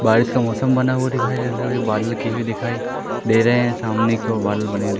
बारिश का मौसम बना हुआ दिखाई दे रहा बादल की भी दिखाई दे रहे हैं सामने की ओर बदल बने--